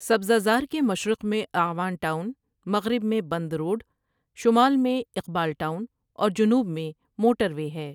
سبزہ زار کے مشرق میں اعوان ٹاؤن، مغرب میں بند روڈ، شمال میں اقبال ٹاؤن اور جنوب میں موٹروے ہے ۔